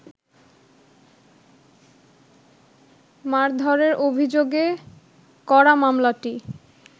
মারধরের অভিযোগে করা মামলাটি